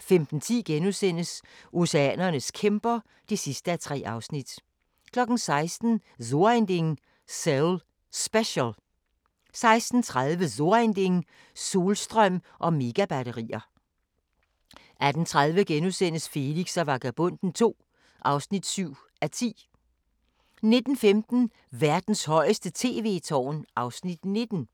15:10: Oceanernes kæmper (3:3)* 16:00: So ein Ding: Seoul Special 16:30: So ein Ding: Solstrøm og Megabatterier 18:30: Felix og Vagabonden II (7:10)* 19:15: Verdens højeste tv-tårn (Afs. 19)